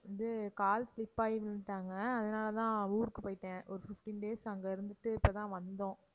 வந்து கால் slip ஆகி விழுந்துட்டாங்க அதனாலதான் ஊருக்கு போயிட்டேன் ஒரு fifteen days அங்க இருந்துட்டு இப்ப தான் வந்தோம்